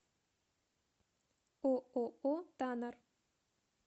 ооо танар